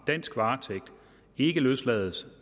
dansk varetægt ikke løslades